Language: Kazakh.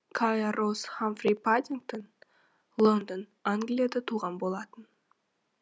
кая роуз хамфри паддингтоне лондон англияда туған болатын